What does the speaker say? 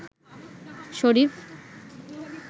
শরীফ